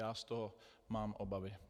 Já z toho mám obavy.